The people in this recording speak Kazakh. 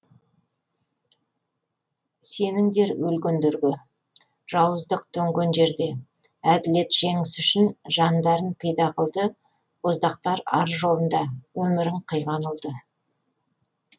сеніңдер өлгендерге жауыздық төнген жерде әділет жеңісі үшін жандарын пида қылды боздақтар ар жолында өмірін қиған ұлды